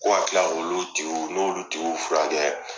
Ko ka kila olu tigiw n'olu tigiw fura kɛ.